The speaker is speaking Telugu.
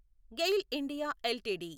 GAIL India LTD